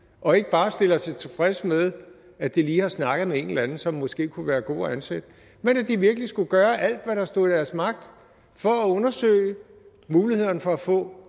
og ikke bare stiller sig tilfredse med at de lige har snakket med en eller anden som måske kunne være god at ansætte men at de virkelig skal gøre alt hvad der står i deres magt for at undersøge mulighederne for at få